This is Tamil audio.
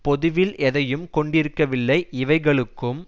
பொதுவில் எதையும் கொண்டிருக்கவில்லைஇவைகளுக்கும்